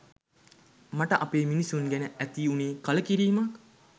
මට අපේ මිනිස්සු ගැන ඇති උනේ කලකිරීමක්..